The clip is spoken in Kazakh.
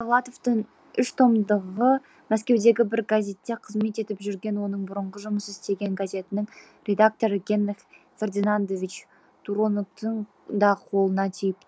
сергей довлатовтың үш томдығы мәскеудегі бір газетте қызмет етіп жүрген оның бұрынғы жұмыс істеген газетінің редакторы генрих фердинандович туроноктың да қолына тиіпті